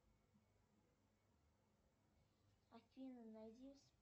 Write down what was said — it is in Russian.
афина найди